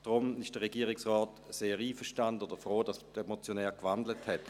Darum ist der Regierungsrat sehr einverstanden oder froh, dass der Motionär gewandelt hat.